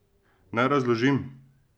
Naj razložim.